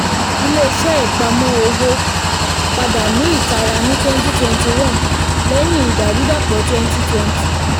ilé-iṣẹ́ ìpamọ́ owó padà ní ìtara ní twenty twenty one lẹ́yìn ìdàrúdàpọ̀ twenty twenty